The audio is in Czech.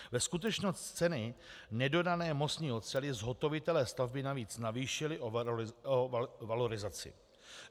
Ve skutečnosti cenu nedodané mostní oceli zhotovitelé stavby navíc navýšili o valorizaci.